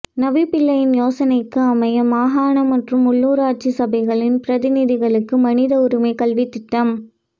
நவிபிள்ளையின் யோசனைக்கு அமைய மாகாண மற்றும் உள்ளூராட்சி சபைகளின் பிரதிநிதிகளுக்கு மனித உரிமை கல்வித்திட்டம்